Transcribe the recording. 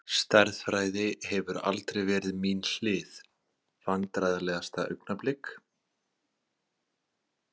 stærðfræði hefur aldrei verið mín hlið Vandræðalegasta augnablik?